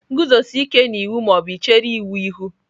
Guzosie ike na iwu ma ọ bụ chere iwu ihu!.